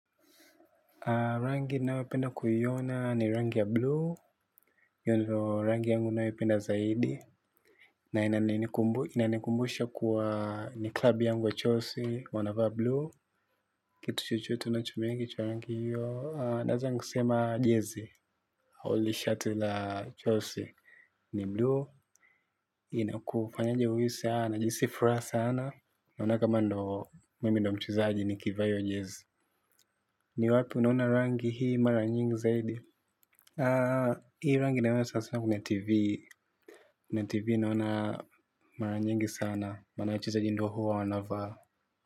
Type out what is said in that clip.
Rangi ninayopenda kuiona ni rangi ya blue, hiyo ndo rangi yangu ninayoipenda zaidi. Na inanikumbusha kuwa ni klabu yangu ya Chelsea, wanavaa blue. Kitu chochote na unachomengi cha rangi hiyo, naweza nikasema jezi, au hili shati la Chelsea. Ni blue, inakufanyaje uhisi, najihisi furaha sana, naona kama ndo mimi ndo mchezaji nikivaa hiyo jezi. Ni wapi unaona rangi hii mara nyingi zaidi. Hii rangi naiona sasa kwenye TV. Kwenye TV naona mara nyingi sana. Maana wachezaji ndo huwa wanavaa.